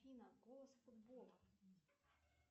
афина голос футбола